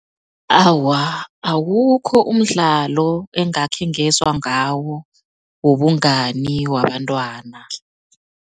Awa, awukho umdlalo engakhe ngezwa ngawo wobungani wabantwana.